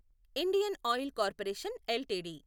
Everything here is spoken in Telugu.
Indian oil corporation LTD